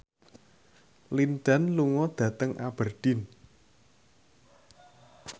Lin Dan lunga dhateng Aberdeen